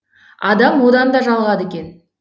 адам одан да жалығады екен